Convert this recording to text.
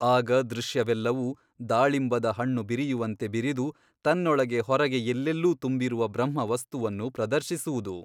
ಆಗ ದೃಶ್ಯವೆಲ್ಲವೂ ದಾಳಿಂಬದ ಹಣ್ಣು ಬಿರಿಯುವಂತೆ ಬಿರಿದು ತನ್ನೊಳಗೆ ಹೊರಗೆ ಎಲ್ಲೆಲ್ಲೂ ತುಂಬಿರುವ ಬ್ರಹ್ಮವಸ್ತುವನ್ನು ಪ್ರದರ್ಶಿಸುವುದು.